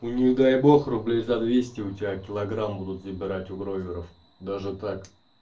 у них дай бог рублей за двести у тебя килограмм будут забирать у бройлеров даже так